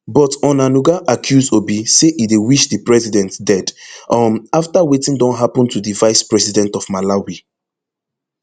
but onanuga accuse obi say e dey wish di president dead um afta wetin don happen to di vice president of malawi